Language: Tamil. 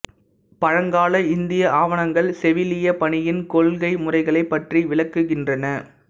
பழங்கால இந்திய ஆவணங்கள் செவிலியப் பணியின் கொள்கை முறைகளைப் பற்றி விளக்குகின்றன